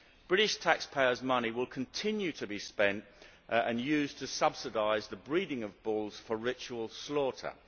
British taxpayers' money will continue to be spent and used to subsidise the breeding of bulls for ritual slaughter.